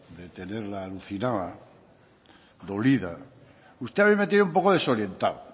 de tenerla alucinada dolida usted a mí me tiene un poco desorientado